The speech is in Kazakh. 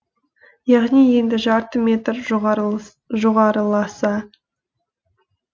яғни енді жарты метр жоғарыласа